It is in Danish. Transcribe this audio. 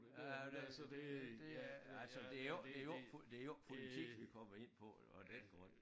Ja det det det er altså det jo ikke det jo ikke det jo ikke politik vi kommer ind på af den grund